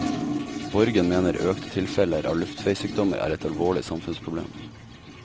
Borgen mener økte tilfeller av luftveissykdommer er et alvorlig samfunnsproblem.